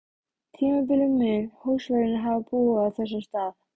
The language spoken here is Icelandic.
tímabili mun húsvörðurinn hafa búið á þessum stað.